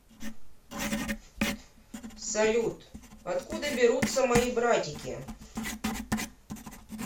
салют откуда берутся мои братики